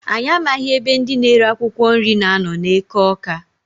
Anyị amaghị ebe ndị na-ere akwụkwọ nri na-anọ n' eke Awka.